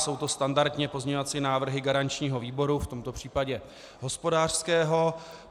Jsou to standardně pozměňovací návrhy garančního výboru, v tomto případě hospodářského.